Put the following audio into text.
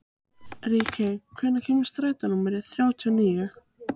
Ríkey, hvenær kemur strætó númer þrjátíu og níu?